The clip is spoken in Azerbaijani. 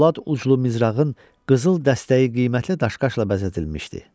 Polad uçlu mizrağın qızıl dəstəyi qiymətli daş-qaşla bəzədilmişdi.